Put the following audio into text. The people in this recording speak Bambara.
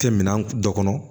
Kɛ minɛn dɔ kɔnɔ